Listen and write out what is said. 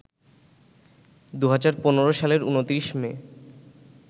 ২০১৫ সালের ২৯ মে